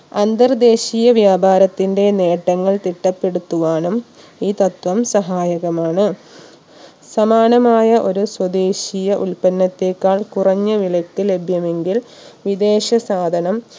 അന്തർദേശീയ വ്യാപാരത്തിന്റെ നേട്ടങ്ങൾ തിട്ടപ്പെടുത്തുവാനും ഈ തത്വം സഹായകമാണ് സമാനമായ ഒരു സ്വദേശിയ ഉൽപ്പന്നത്തെക്കാൾ കുറഞ്ഞ വിലക്ക് ലഭ്യമെങ്കിൽ വിദേശ സാധനം